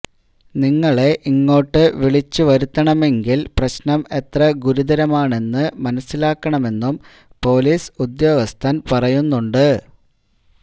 നിങ്ങളെ ഇങ്ങോട്ട് വിളിച്ചുവരുത്തണമെങ്കില് പ്രശ്നം എത്ര ഗുരുതരമാണെന്നു മനസിലാക്കണമെന്നും പോലീസ് ഉദ്യോഗസ്ഥന് പറയുന്നുണ്ട്